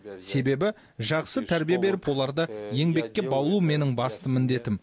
себебі жақсы тәрбие беріп оларды еңбекке баулу менің басты міндетім